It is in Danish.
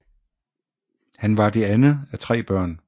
Han var det andet af tre børn